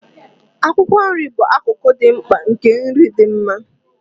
Akwụkwọ nri bụ akụkụ dị mkpa nke nri dị mma.